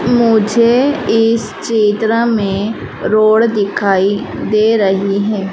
मुझे इस चित्र में रोड दिखाई दे रही है।